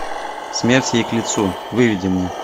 смерть ей к лицу выведи мне